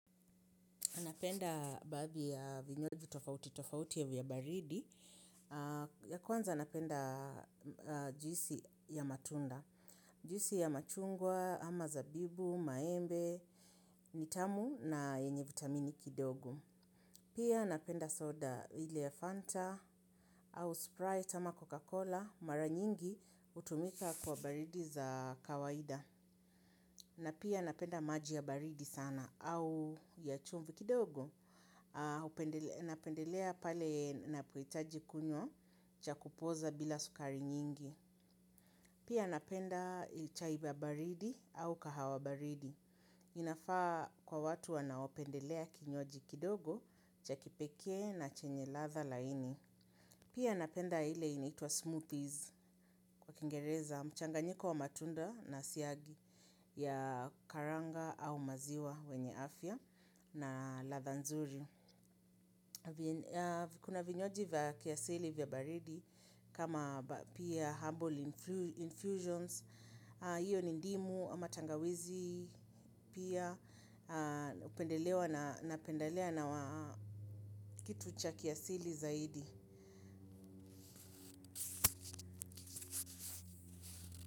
Napenda baadhi ya vinywaji tofauti tofauti vya baridi. Ya kwanza napenda juisi ya matunda. Juisi ya machungwa, ama zabibu, maembe, nitamu na yenye vitamini kidogo. Pia napenda soda ile ya fanta au sprite ama coca cola mara nyingi hutumika kwa baridi za kawaida. Na pia napenda maji ya baridi sana au ya chumvi kidogo, napendelea pale napohitaji kunywa cha kupooza bila sukari nyingi. Pia napenda chai ya baridi au kahawa baridi. Inafaa kwa watu wanaopendelea kinywaji kidogo cha kipekee na chenye ladha laini. Pia napenda ile inaitwa smoothies kwa kingereza mchanganyiko wa matunda na siagi ya karanga au maziwa wenye afya na ladha nzuri. Kuna vinywaji vya kiasili vya baridi kama pia humble infusions, hiyo ni ndimu ama tangawizi pia hupendelewa na pendalea na kitu cha kiasili zaidi.